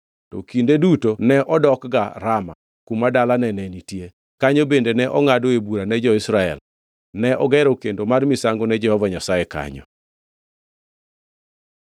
To kinde duto ne odokga Rama, kuma dalane ne nitie, kanyo bende ne ongʼadoe bura ne jo-Israel. Ne ogero kendo mar misango ne Jehova Nyasaye kanyo.